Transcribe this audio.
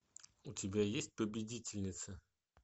у тебя есть победительница